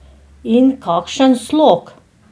In kakšen slog!